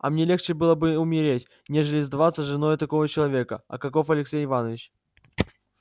а мне легче было бы умереть нежели сделаться женою такого человека каков алексей иванович